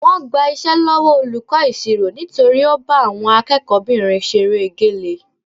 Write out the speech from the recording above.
Wọ́n gba iṣẹ́ lọ́wọ́ olùkọ́ ìṣirò nítorí ó bá àwọn akẹ́kọ̀ọ́kùnrinbìnrin ṣeré egélé